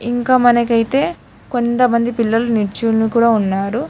ఇంకా మనకు అయితే కొంతమంది పిల్లలు నిల్చోని కూడా ఉన్నారు.